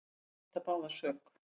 Þær neita báðar sök.